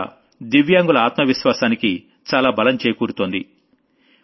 దానివల్ల దివ్యాంగుల ఆత్మ విశ్వాసానికి చాలా బలం చేకూరుతోంది